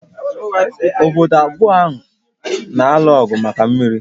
Obodo abụọ a na-alụ ọgụ maka mmiri